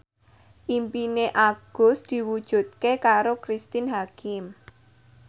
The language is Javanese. impine Agus diwujudke karo Cristine Hakim